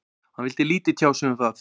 Hann vildi lítið tjá sig um það.